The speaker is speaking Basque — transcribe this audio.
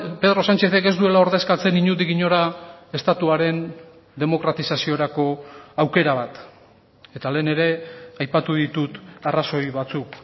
pedro sánchezek ez duela ordezkatzen inondik inora estatuaren demokratizaziorako aukera bat eta lehen ere aipatu ditut arrazoi batzuk